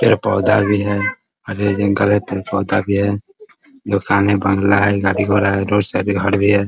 पेड़ पौधा भी है । आगे जंगल हैपेड़-पौधा भी है । दुकान हैबंगला है गाडी घोडा है घर भी है ।